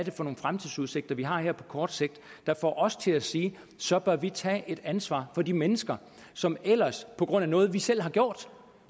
er for nogle fremtidsudsigter vi har her på kort sigt der får os til at sige at så bør vi tage et ansvar for de mennesker som ellers på grund af noget vi selv har gjort